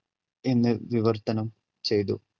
എന്ന് വിവർത്തനം ചെയ്തു.